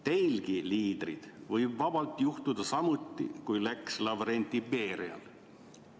Teilgi, liidrid, võib vabalt juhtuda samuti, kui läks Lavrenti Berial.